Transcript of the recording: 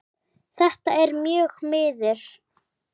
Þetta er mjög miður.